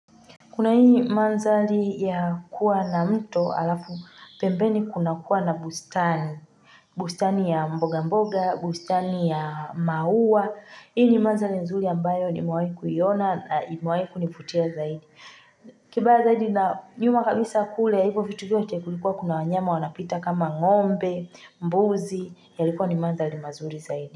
Kuna hii mandhari ya kuwa na mto halafu pembeni kuna kuwa na bustani. Bustani ya mboga mboga, bustani ya maua. Hii ni mandhari nzuri ambayo nimewahi kuiona na imewahi kunivutia zaidi. Kibaya zaidi na nyuma kabisa kule ya hivyo vitu vyote kulikuwa kuna wanyama wanapita kama ngombe, mbuzi, ya likuwa ni mandhari mazuri zaidi.